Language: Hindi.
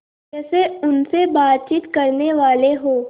जैसे उनसे बातचीत करनेवाले हों